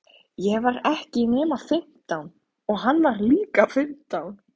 Ég var ekki nema fimmtán og hann var líka fimmtán.